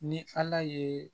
Ni ala ye